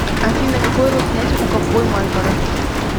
афина какой род занятий у ковбой мальборо